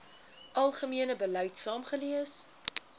algemene beleid saamgelees